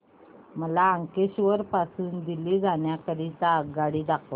मला अंकलेश्वर पासून दिल्ली जाण्या करीता आगगाडी दाखवा